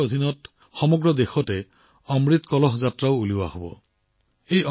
এই অভিযানৰ অধীনত সমগ্ৰ দেশতে অমৃত কলহ যাত্ৰাও উলিওৱা হব